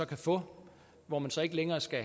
kan få og hvor man så ikke længere skal